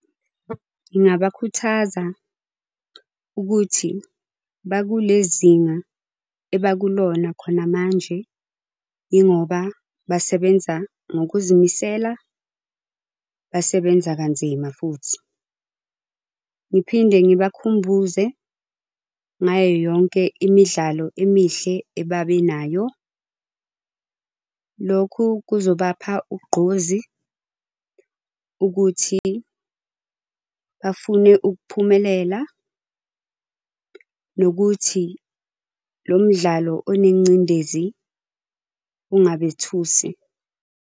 Ngingabakhuthaza, ukuthi bakulezinga abakulona khona manje, yingoba basebenza ngokuzimisela, basebenza kanzima futhi. Ngiphinde ngibakhumbuze ngayoyonke imidlalo emihle ebabenayo. Lokhu kuzobapha ugqozi ukuthi bafune ukuphumelela, nokuthi lomdlalo onengcindezi ungabethusi.